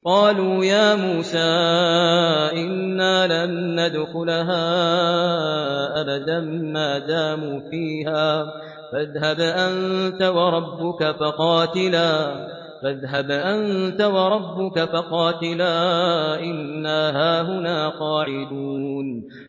قَالُوا يَا مُوسَىٰ إِنَّا لَن نَّدْخُلَهَا أَبَدًا مَّا دَامُوا فِيهَا ۖ فَاذْهَبْ أَنتَ وَرَبُّكَ فَقَاتِلَا إِنَّا هَاهُنَا قَاعِدُونَ